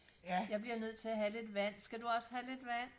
ja jeg bliver nødt til at have lidt vand skal du også have lidt vand